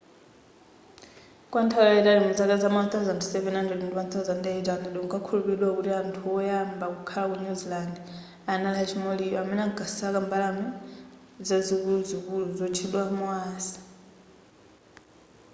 kwa nthawi yaitali muzaka zama 1700 ndi 1800 kunkakhulupililidwa kuti anthu woyamba kukhala ku new zealand anali a chi maori amene ankasaka zimbalame zazikuluzikulu zotchedwa moas